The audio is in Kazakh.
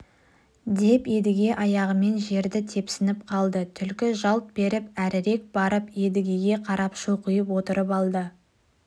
деп едіге аяғымен жерді тепсініп қалды түлкі жалт беріп әрірек барып едігеге қарап шоқиып отырып алды